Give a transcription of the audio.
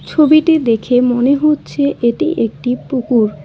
ছবিটি দেখে মনে হচ্ছে এটি একটি পুকুর।